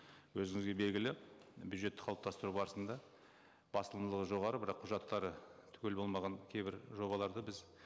өзіңізге белгілі бюджетті қалыптастыру барысында жоғары бірақ құжаттары түгел болмаған кейбір жобаларды біз